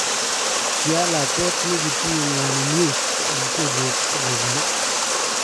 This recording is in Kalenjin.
"kialaakwet nekitinye ng'waninwek en kelyek ak eunek